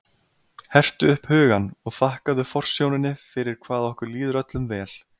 Hertu upp hugann og þakkaðu forsjóninni fyrir hvað okkur líður öllum vel.